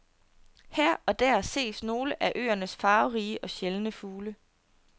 Her og der ses nogle af øernes farverige og sjældne fugle.